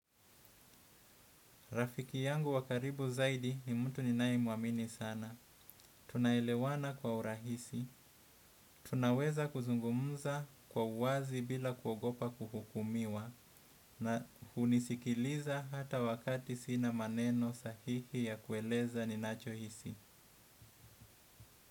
Rafiki yangu wa karibu zaidi ni mtu ninayemwamini sana. Tunaelewana kwa urahisi. Tunaweza kuzungumza kwa uwazi bila kuogopa kuhukumiwa. Na hunisikiliza hata wakati sina maneno sahihi ya kueleza ninachohisi.